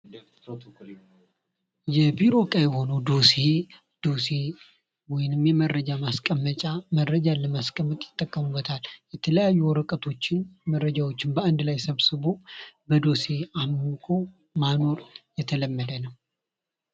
የቢሮ እቃ የሆነው ዶሴ ዶሴ ወይም የመረጃ ማስቀመጫ መረጃን ለማስቀመጥ ይጠቀሙበታል። የተለያዩ ወረቀቶችን መረጃዎችን በአንድ ላይ ሰብስቦ በዶሴ አምቆ ማኖር የተለመደ ነው።